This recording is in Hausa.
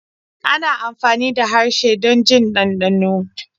ana amfani da harshe don jin dandano.